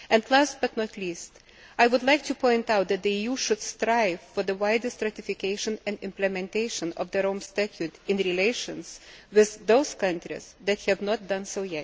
Last but not least, I would like to point out that the EU should strive for the widest ratification and implementation of the Rome Statute in relations with those countries that have not yet done so.